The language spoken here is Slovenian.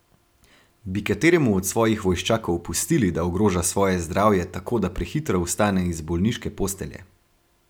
Bi kateremu od svojih vojščakov pustili, da ogroža svoje zdravje tako, da prehitro vstane iz bolniške postelje?